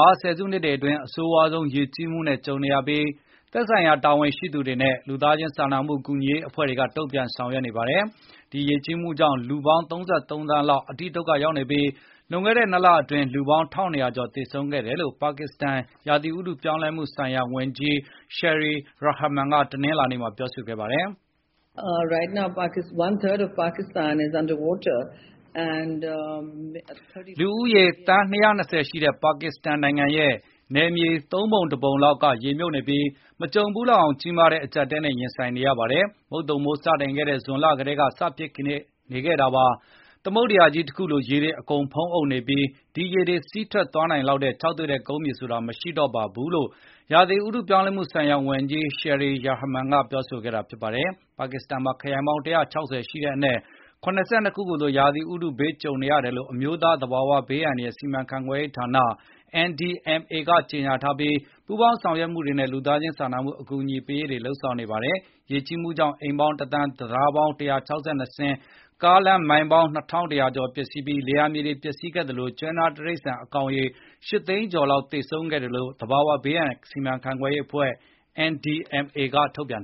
ှာ ဆယ်စုနှစ်တွေအတွင်း အဆိုးရွားဆုံး ရေကြီးမှုနဲ့ကြုံနေရပြီး၊ သက်ဆိုင်ရာ တာဝန်ရှိသူတွေနဲ့ လူသားချင်း စာနာမှုကူညီရေးအဖွဲ့တွေက တုန့်ပြန်လုပ်ဆောင်နေပါတယ်။ ဒီရေကြီးမှုကြောင့် လူပေါင်း ၃၃ သန်းလောက် အတိဒုက္ခ ရောက်နေပြီး လွန်ခဲ့တဲ့ ၂ လအတွင်း လူပေါင်း ၁၂၀၀ ကျော်သေဆုံးခဲ့တယ်လို့ ပါကစ္စတန် ရာသီဥတု ပြောင်းလဲမှုဆိုင်ရာ ဝန်ကြီး Sherry Rehman ကတနင်္လာနေ့မှာ ပြောဆိုခဲ့ပါတယ်။ လူဦးရေသန်း ၂၂၀ ရှိတဲ့ ပါကစ္စတန်နိုင်ငံရဲ့ ၃ ပုံ ၁ ပုံလောက်ကရေမြုပ်နေပြီး မကြုံဘူးလောက်အောင် ကြီးမားတဲ့ အကျပ်အတည်းနဲ့ ရင်ဆိုင်နေရပါတယ်။ မုတ်သုန်မိုး စတင်တဲ့ ဇွန်လကတည်းက စဖြစ်နေခဲ့တာပါ။ သမုဒ္ဒရာကြီး တခုလို ရေတွေအကုန်ဖုံးအုပ်နေပြီး ဒီရေတွေ စီးထွက်သွားနိုင်လောက်တဲ့ ခြောက်သွေ့တဲ့ ကုန်းမြေဆိုတာကို မရှိတော့ပါဘူး လို့ ရာသီဥတုပြောင်းလဲမှုဆိုင်ရာဝန်ကြီး Sherry Rehman ကပြောဆိုသွားခဲ့တာပါ။ ပါကစ္စတန်မှာ ခရိုင်ပေါင်း ၁၆၀ ရှိတဲ့အနက် ၇၂ ခုကို ရာသီဥတုဘေးအန္တရာယ်ကြုံနေရတယ်လို့ အမျိုးသား သဘာဝဘေး အန္တရာယ် စီမံခန့်ခွဲမှုဌာန NDMA ကကြေညာထားပြီး ပူးပေါင်းဆောင်ရွက်မှုတွေနဲ့ လူသားချင်း စာနာမှု အကူအညီပေးရေး တွေကို စီမံလုပ်ဆောင်နေပါတယ်။ ရေကြီးမှုကြောင့် အိမ်ပေါင်း ၁,၀၀၀,၀၀၀၊ တံတားပေါင်း ၁၆၂ စင်း၊ ကားလမ်းမိုင်ပေါင်း ၂,၁၀၀ ကျော်ပျက်စီးပြီး၊ လယ်ယာ မြေတွေ ပျက်စီးတဲ့အပြင်၊ ကျွဲနွားတိရိစ္ဆာန် အကောင်ရေ ၈၀၀,၀၀၀ ကျော်လောက် သေဆုံးခဲ့တယ်လို့ သဘာဝဘေး အန္တရာယ်စီမံခန့်ခွဲမှုဌာန NDMA က ထုတ်ပြန်